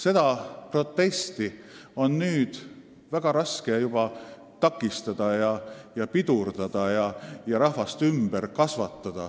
Seda protesti on väga raske takistada, väga raske on rahvast ümber kasvatada.